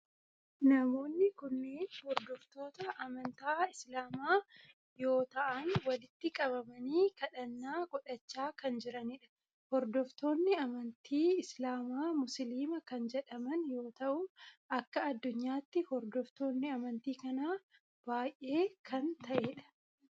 Namoonni kunneen hordoftoota amantii islaamaa yoo ta'aan walitti qabamanii kadhannaa godhaacha kan jirani dha. Hordoftoonni amantii islaamaa musliima kan jedhaman yoo ta'u akka addunyaatti hordoftoonni amantii kanaa baayyee kan ta'edha.